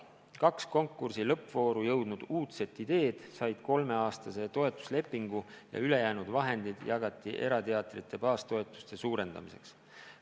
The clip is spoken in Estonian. Kaks konkursi lõppvooru jõudnud uudset ideed said kolmeaastase toetuslepingu ja ülejäänud raha jagati erateatrite baastoetuste suurendamiseks.